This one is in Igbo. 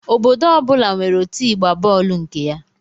Obodo ọ bụla nwere otụ ịgba bọọlụ nke ya